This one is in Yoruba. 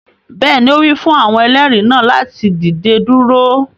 Bẹẹni, o wi fun awọn ẹlẹri naa lati dide duro